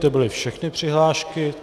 To byly všechny přihlášky.